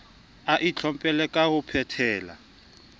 a itlhompholle ka ho phetela